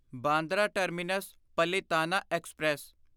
Bandra terminus Palitana express